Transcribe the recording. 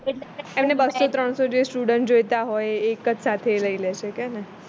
એમને બસો ત્રણસો જે student જોઈતા હોય એ કે જ સાથે લઇ લે છે